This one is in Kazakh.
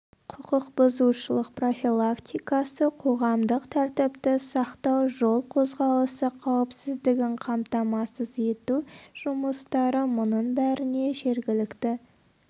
құқық бұзушылық профилактикасы қоғамдық тәртіпті сақтау жол қозғалысы қауіпсіздігін қамтамасыз ету жұмыстары мұның бәріне жергілікті